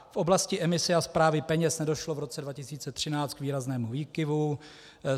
V oblasti emise a správy peněz nedošlo v roce 2013 k výraznému výkyvu.